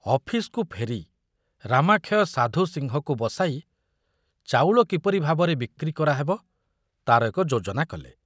ଅଫିସକୁ ଫେରି ରାମାକ୍ଷୟ ସାଧୁ ସିଂହକୁ ବସାଇ ଚାଉଳ କିପରି ଭାବରେ ବିକ୍ରି କରାହେବ ତାର ଏକ ଯୋଜନା କଲେ।